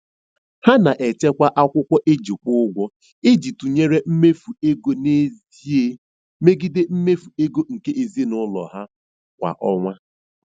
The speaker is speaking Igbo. Ha na-echekwa akwụkwọ e ji kwụ ụgwọ iji tụnyere mmefu ego n'ezie megide mmefu ego nke ezinụụlọ ha kwa ọnwa.